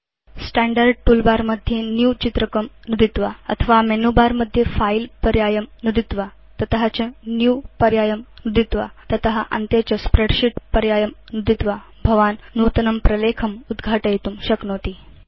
standard toolbar मध्ये new चित्रकं नुदित्वा अथवा मेनु बर मध्ये फिले पर्यायं नुदित्वा ततश्च न्यू पर्यायं नुदित्वा तत अन्ते च स्प्रेडशीट् पर्यायं नुदित्वा भवान् नूतनं प्रलेखम् उद्घाटयितुं शक्नोति